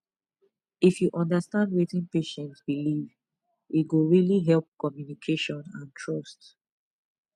if you understand wetin patient believe e go really help communication and trust